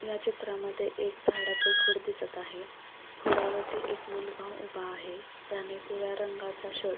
या चित्रामध्ये एक झाडाचे खोड दिसत आहे खोडावरती एक मुलगा उभा आहे त्याने पिवळ्या रंगाचा शर्ट --